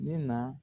Ne na